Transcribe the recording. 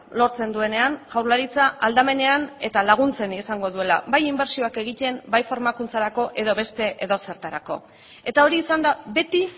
lortzen duenean jaurlaritza aldamenean eta laguntzen izango duela bai inbertsioak egiten bai formakuntzarako edo beste edozertarako eta hori izan da beti